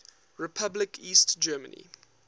republic east germany